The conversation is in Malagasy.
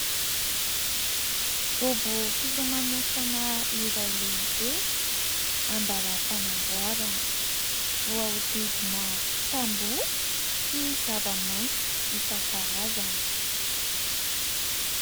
Dobo filomanosana iray lehibe an-dàlam-panamboarana, voahodidina tamboho sy zava-maitso isan-karazany.